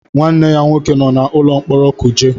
Nwanne ya nwoke nọ n'ụlọ mkpọrọ Kuje.